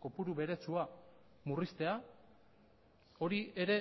kopuru beretsua murriztea hori ere